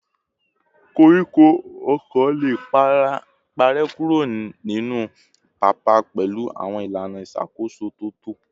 Koríko ọ̀kọ̀ lè parẹ́ kúrò nínú pápá pẹ̀lú àwọn ìlànà ìṣàkóso tó tọ́